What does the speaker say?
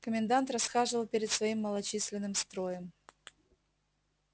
комендант расхаживал перед своим малочисленным строем